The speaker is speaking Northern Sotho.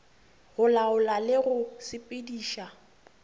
go laola le go sepediša